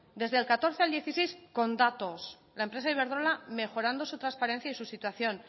desde el catorce al dieciséis con datos la empresa iberdrola mejorando su transparencia y su situación